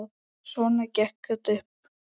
Svona gekk þetta upp.